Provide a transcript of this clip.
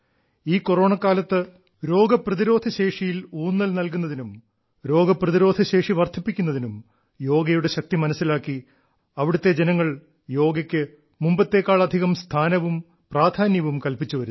ഈ കൊറോണക്കാലത്ത് രോഗപ്രതിരോധശേഷിയിൽ ഊന്നൽ നൽകുന്നതിനും രോഗപ്രതിരോധശേഷി വർദ്ധിപ്പിക്കുന്നതിനും യോഗയുടെ ശക്തി മനസ്സിലാക്കി അവിടത്തെ ജനങ്ങൾ യോഗയ്ക്ക് മുമ്പത്തേക്കാളധികം സ്ഥാനവും പ്രാധാന്യവും കൽപ്പിച്ചു വരുന്നു